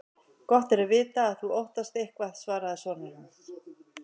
Gott er að vita að þú óttast eitthvað, svaraði sonur hans.